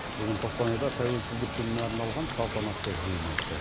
бүгін қостанайда тәуелсіздік күніне арналған салтанатты жиыны өтті